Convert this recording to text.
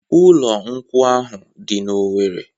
Ụlọ nkwụ ahụ dị n'Owere.